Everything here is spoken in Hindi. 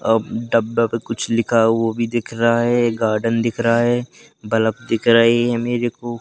अह डब्बा पे कुछ लिखा वो भी दिख रहा है गार्डन दिख रहा है बल्ब दिख रही है मेरे को।